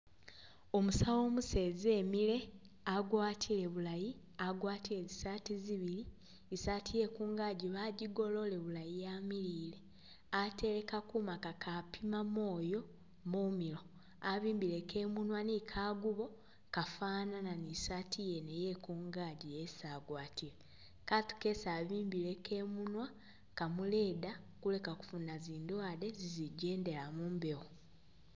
Umusawo umuseza emile agwatile bulayi, agwatile zi saati zibili, i'saati ye kungagi bajigolole bulayi yamilile. Atele kakuma kakapima mwoyo mumilo. Abimbileko i'munwa ni kagubo kafanana ni i'saati yekungaji yene esi agwatile. Katu kesi abimbileko imunwa kamuyeda kuleka kufuna zindwaale zizigyendela mu mbewo.